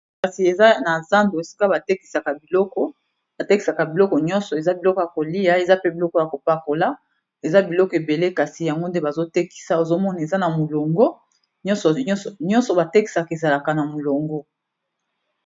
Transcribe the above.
kasi eza na zando esika batekisaka biloko nyonso eza biloko ya kolia eza pe biloko ya kopakola eza biloko ebele kasi yango nde bazotekisa ozomona eza na molongo nyonso batekisaka ezalaka na molongo